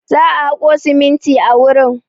Za a haƙo siminti a wurin.